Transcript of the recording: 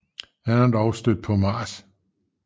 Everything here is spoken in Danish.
Han er dog stødt på Mrs